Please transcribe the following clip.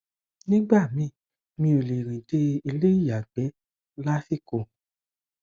nígbà míì mi ò lè rìn dé ilé ìyàgbẹ lásìkò